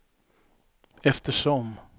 eftersom